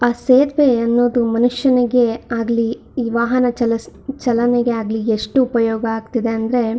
ಆ ಸೇತುವೆ ಅನ್ನೋದು ಮನುಷ್ಯನಿಗಾಗಲಿ ಈ ವಾಹನ ಚಲೀಸ್ ಚಲನೆಗಾಗಲೀ ಎಷ್ಟು ಉಪಯೋಗ ಆಗ್ತಿದೆ ಅಂದ್ರೆ--